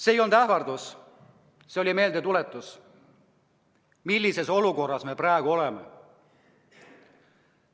See ei olnud ähvardus, see oli meeldetuletus, millises olukorras me praegu oleme.